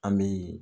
An bi